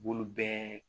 B'olu bɛɛ